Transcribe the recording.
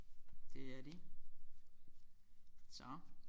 Det er de så